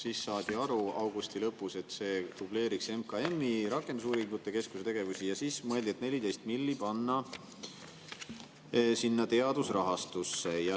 Augusti lõpus saadi aru, et see dubleeriks MKM-i rakendusuuringute keskuse tegevusi, ja siis mõeldi 14 miljonit panna sinna teadusrahastusse.